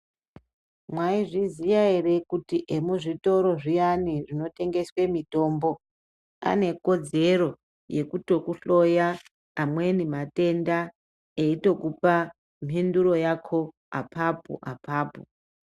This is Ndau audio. Maizviziya ere kuti emzvitoro zviyani zvinotengeswa mitombo ane kodzero yekutokuhloya amweni matenda eitokupa minduro yako apapo apapo.